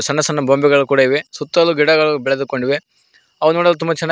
ಸಣ್ಣ ಸಣ್ಣ ಗೊಂಬೆಗಳು ಕೂಡ ಇವೆ ಸುತ್ತಲು ಗಿಡಗಳು ಬೆಳೆದುಕೊಂಡಿವೆ ಅವು ನೋಡಲು ತುಂಬ ಚೆನ್ನಾಗಿ--